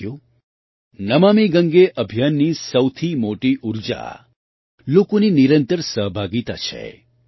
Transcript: સાથીઓ નમામિ ગંગે અભિયાનની સૌથી મોટી ઊર્જા લોકોની નિરંતર સહભાગિતા છે